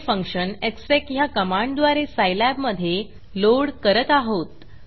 हे फंक्शन execएग्ज़ेक ह्या कमांडद्वारे सायलॅबमधे लोड करत आहोत